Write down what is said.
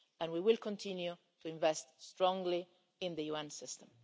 We will continue to invest strongly in the UN system.